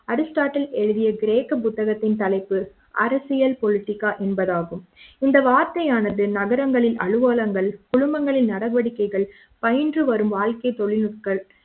Aristotle எழுதிய கிரேக்க புத்தகத்தின் தலைப்பு அரசியல் பொலிட்டிகா என்பதாகும் இந்த வார்த்தையானது நகரங்களின் அலுவலகங்கள் குழுமங்களின் நடவடிக்கைகள் பயின்று வரும் வாழ்க்கை தொழில்நுட்கள்